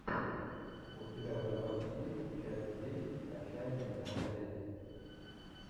у тебя в запасе есть часть десять отчаянные домохозяйки